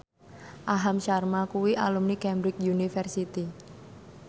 Aham Sharma kuwi alumni Cambridge University